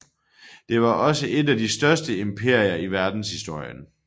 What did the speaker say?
Det var også et af de største imperier i verdenshistorien